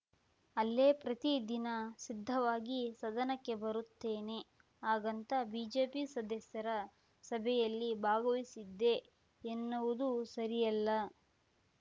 ಅಲ್ಲೇ ಪ್ರತಿ ದಿನ ಸಿದ್ಧವಾಗಿ ಸದನಕ್ಕೆ ಬರುತ್ತೇನೆ ಹಾಗಂತ ಬಿಜೆಪಿ ಸದಸ್ಯರ ಸಭೆಯಲ್ಲಿ ಭಾಗವಹಿಸಿದ್ದೆ ಎನ್ನುವುದು ಸರಿಯಲ್ಲ